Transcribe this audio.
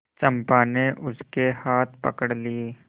चंपा ने उसके हाथ पकड़ लिए